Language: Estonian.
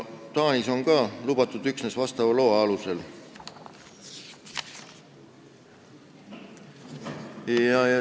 Taanis on see ka lubatud üksnes loa alusel.